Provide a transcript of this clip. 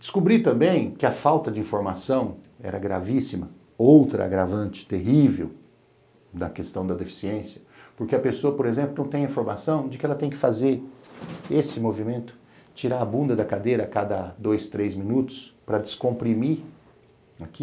Descobri também que a falta de informação era gravíssima, outro agravante terrível da questão da deficiência, porque a pessoa, por exemplo, não tem informação de que ela tem que fazer esse movimento, tirar a bunda da cadeira a cada dois, três minutos para descomprimir aqui,